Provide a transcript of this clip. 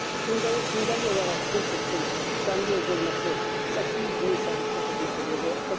Gündəlik olaraq kompleksin dəmiryol bölməsi 800 min sərnişinə xidmət eləyəcək.